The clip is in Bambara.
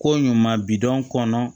Ko ɲuman bi dɔ kɔnɔ